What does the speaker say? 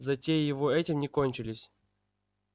затеи его этим не кончились